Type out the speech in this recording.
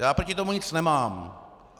Já proti tomu nic nemám.